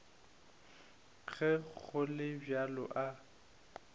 ge go le bjalo a